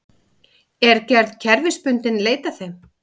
Er gerð kerfisbundinn leit að þeim